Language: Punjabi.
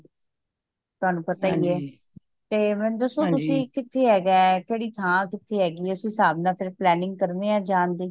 ਤੁਹਾਨੂੰ ਪਤਾ ਹੀਏ ਤੇ ਮੈਨੂੰ ਦਸੋ ਤੁਸੀ ਕਿਥੇ ਹੈਗਾ ਕਿਹੜੀ ਥਾਂ ਕਿਥੇ ਹੈਗੀ ਏ ਉਸ ਹਿਸਾਬ ਨਾਲ ਫੇਰ planting ਕਰਨੇਆ ਜਾਣ ਦੀ